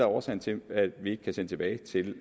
årsagen til at vi ikke kan sende tilbage til